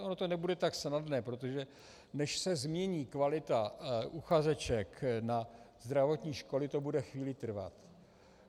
Ono to nebude tak snadné, protože než se změní kvalita uchazeček na zdravotní školy, bude to chvíli trvat.